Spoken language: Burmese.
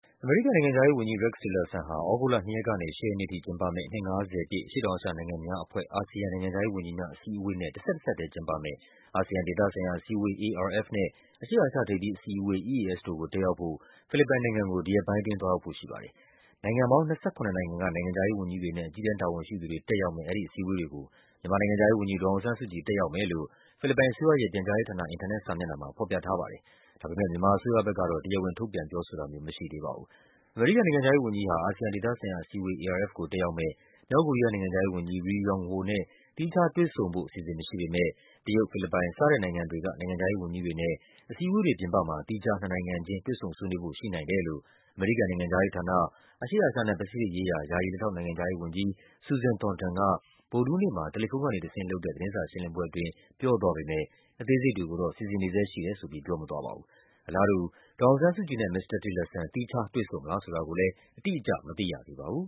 အမေရိကန် နိုင်ငံခြားရေးဝန်ကြီး Rex Tillerson ဟာ အရှေ့တောင်အာရှ နိုင်ငံများအဖွဲ့ ASEAN နိုင်ငံခြားရေး ဝန်ကြီးများ အစည်းအဝေးနဲ့ တဆက်တစပ်ထဲ ကျင်းပမယ့် အာဆီယံ ဒေသဆိုင်ရာ အစည်းအဝေး ARF နဲ့ အရှေ့အာရှ ထိပ်သီးအစည်းအဝေး EAS တို့ကို တက်ရောက်ဖို့ ဖိလစ်ပိုင်နိုင်ငံကို ဒီရက်ပိုင်းအတွင်း သွားရောက်ဖို့ရှိပါတယ်။ နိုင်ငံပေါင်း ၂၇ နိုင်ငံက နိုင်ငံခြားရေး ဝန်ကြီးတွေနဲ့ အကြီးတန်း တာဝန်ရှိသူတွေ တက်ရောက်မယ့် ဒီအစည်းအဝေးတွေကို မြန်မာ နိုင်ငံခြားရေးဝန်ကြီး ဒေါ်အောင်ဆန်းစုကြည် တက်ရောက်မယ်လို့ ဖိလစ်ပိုင်အစိုးရရဲ့ပြန်ကြားရေးဌာန အင်တာနက် စာမျက်နှာမှာ ဖော်ပြထားပါတယ်။ ဒါပေမဲ့ မြန်မာအစိုးရ ဘက်ကတော့ တရားဝင် ထုတ်ပြန်ပြောဆိုတာမျိုး မရှိသေးပါဘူး။ အမေရိကန် နိုင်ငံခြားရေးဝန်ကြီးဟာ တရုတ်၊ ဖိလစ်ပိုင် စတဲ့ နိုင်ငံတွေက နိုင်ငံခြားရေး ဝန်ကြီးတွေနဲ့ အစည်းအဝေးတွေ ပြင်ပမှာ သီးခြားနှစ်နိုင်ငံခြင်း တွေ့ဆုံဆွေးနွေးဖို့ ရှိနိုင်တယ်လို့ အမေရိကန် နိုင်ငံခြားရေးဌာန၊ အရှေ့အာရှနဲ့ ပစိတ်ဖိတ်ရေးရာ ယာယီ လက်ထောက် နိုင်ငံခြားရေးဝန်ကြီး Susan Thornton က ဗုဒ္ဓဟူးနေ့မှာ တယ်လီဖုန်းကနေ တဆင့်လုပ်တဲ့ သတင်းစာရှင်းလင်းပွဲ အတွင်း ပြောသွားပေမဲ့ အသေးစိတ်တွေကိုတော့ စီစဉ်နေဆဲ ရှိတယ်ဆိုပြီး ပြောမသွားပါဘူး။ အလားတူ ဒေါ်အောင်ဆန်းစုကြည်နဲ့ မစ္စတာ Tillerson သီးခြားတွေ့ဆုံမလား ဆိုတာကိုလည်း အတိအကျ မသိရသေးပါဘူး